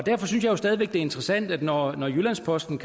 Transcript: derfor synes jeg stadig væk det er interessant når jyllands posten